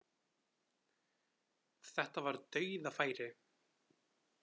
Þetta var dauðafæri